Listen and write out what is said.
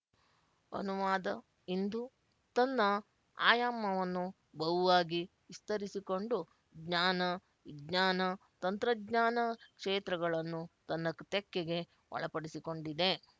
ಅನುವಾದ ಇಂದು ತನ್ನ ಆಯಾಮವನ್ನು ಬಹುವಾಗಿ ವಿಸ್ತರಿಸಿಕೊಂಡು ಜ್ಞಾನವಿಜ್ಞಾನ ತಂತ್ರಜ್ಞಾನ ಕ್ಷೇತ್ರಗಳನ್ನು ತನ್ನ ತೆಕ್ಕೆಗೆ ಒಳಪಡಿಸಿಕೊಂಡಿದೆ